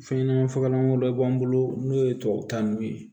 Fɛn ɲɛnɛma fagalan wɛrɛ b'an bolo n'o ye tubabukanniw ye